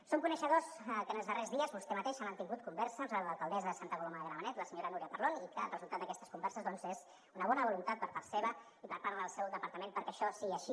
som coneixedors que en els darrers dies vostè mateix ha mantingut converses amb l’alcaldessa de santa coloma de gramenet la senyora núria parlon i que el resultat d’aquestes converses doncs és una bona voluntat per part seva i per part del seu departament perquè això sigui així